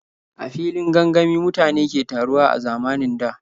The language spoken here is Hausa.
A filin gangami mutane ke taruwa a zamanin da.